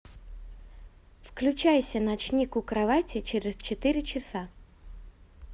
включайся ночник у кровати через четыре часа